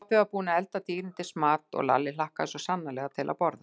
Pabbi var búinn að elda dýrindis mat og Lalli hlakkaði svo sannarlega til að borða.